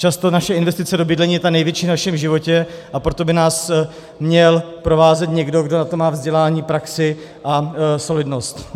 Často naše investice do bydlení je ta největší v našem životě, a proto by nás měl provázet někdo, kdo na to má vzdělání, praxi a solidnost.